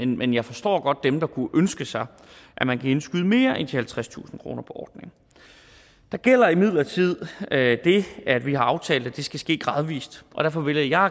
men jeg forstår godt dem der kunne ønske sig at man kan indskyde mere end de halvtredstusind kroner på ordningen der gælder imidlertid det at vi har aftalt at det skal ske gradvis og derfor vælger jeg